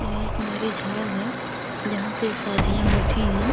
यह एक marriage hall है जहां पे शादियां होती हैं।